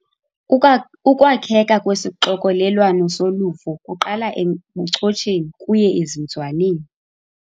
Ukwa ukwakheka kwesixokelelwano soluvo kuqala ebuchotsheni kuye ezinzwaneni.